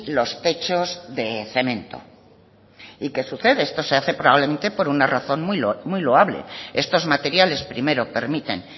los techos de cemento y qué sucede esto se hace probablemente por una razón muy loable estos materiales primero permiten